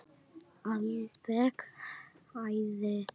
Alveg æði.